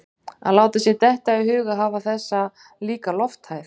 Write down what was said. Að láta sér detta í hug að hafa þessa líka lofthæð